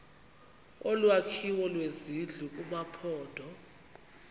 olwakhiwo lwezindlu kumaphondo